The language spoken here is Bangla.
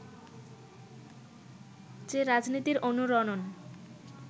যে রাজনীতির অনুরণন